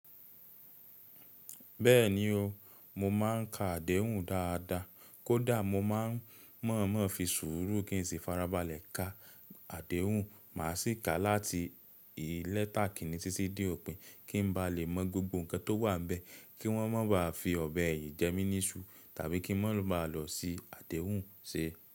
Bẹ́ẹ̀ni o, mo máà ń ka àdéhùn dáadáa, kó dà mo máa ń mọ̀ọ́mọ̀ fi sùúrù kí n sì farabalẹ̀ ka àdéhùn. Mà a sì ka láti ìlẹ́tàkíni títí dé òpin kí n ba lè mọ gbogbo nǹkan tó wà níbẹ̀, kí wọ́n má ba à fi ọ̀bẹ yìí jẹ mí níṣu tàbí kí wọ́n má ba à lọ sí àdéhùn se.